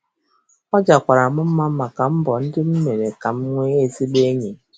Ọ jakwara m mma maka mbọ ndị m mere ka m nwee ezigbo enyi.